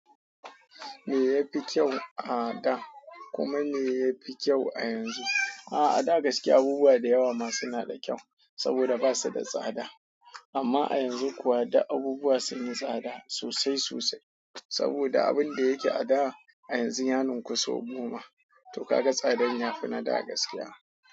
Me ya fi kyau a da kuma me ya fi kyau a yanzu? A'a, a da gaskiya abubuwa da yawa ma suna da kyau saboda ba su da tsada. Amma a yanzu kuwa duk abubuwa sun yi tsada sosai sosai saboda abin da yake a da a yanzu ya ninku sau goma. To ka ga tsadan ya fi na da gaskiya.